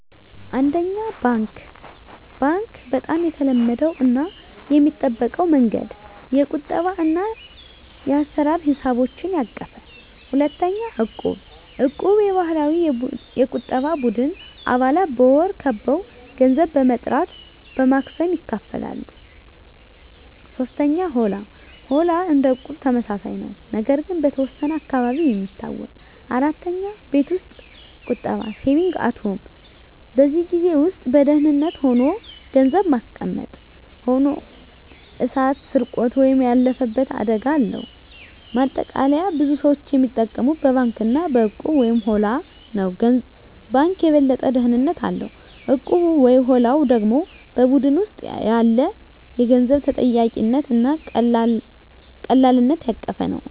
1. ባንክ (Bank) - በጣም የተለመደው እና የሚጠበቀው መንገድ። የቁጠባ እና የአሰራ ሂሳቦችን ያቀፈ። 2. እቁብ (Equb) - የባህላዊ የቁጠባ ቡድን። አባላት በወር አበው ገንዘብ በመጠራት በማክሰሞ ይካፈላሉ። 3. ሆላ (Holla) - እንደ እቁብ ተመሳሳይ ነው፣ ነገር ግን በተወሰነ አካባቢ የሚታወቅ። 4. ቤት ውስጥ ቁጠባ (Saving at Home) - በቤት ውስጥ በደህንነት ሆኖ ገንዘብ ማስቀመጥ። ሆኖ እሳት፣ ስርቆት ወይም ያለፈበት አደጋ አለው። ማጠቃለያ ብዙ ሰዎች የሚጠቀሙት በባንክ እና በእቁብ/ሆላ ነው። ባንኩ የበለጠ ደህንነት አለው፣ እቁቡ/ሆላው ደግሞ በቡድን ውስጥ ያለ የገንዘብ ተጠያቂነት እና ቀላልነት ያቀፈ ነው።